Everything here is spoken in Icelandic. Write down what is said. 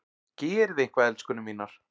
Gerið eitthvað, elskurnar mínar!